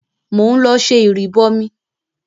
Mò ń lọ ṣẹ ìrìbọmi.